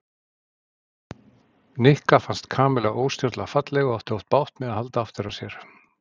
Nikka fannst Kamilla óstjórnlega falleg og átti oft bágt með að halda aftur af sér.